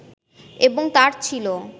এবং তাঁর ছিল